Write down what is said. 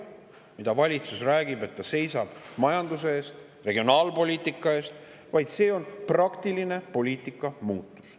Retoorikat kasutab valitsus, kui ta räägib, et ta seisab majanduse eest ja regionaalpoliitika eest, vaid see on praktiline poliitikamuutus.